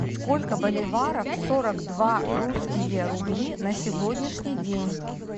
сколько боливаров сорок два русские рубли на сегодняшний день